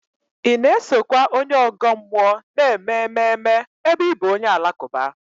Ị na-esokwa onye ọgọ mmụọ na-eme ememe ebe ị bụ onye Alakụba?